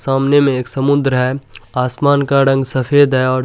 सामने में एक समुन्द्र है आसमान का रंग सफ़ेद है और --